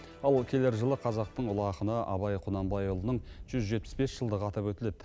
ал келер жылы қазақтың ұлы ақыны абай құнанбайұлының жүз жетпіс бес жылдығы атап өтіледі